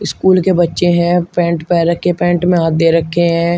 School के बच्चे हैं पैंट पहन रखे पैंट में हाथ दे रखे हैं।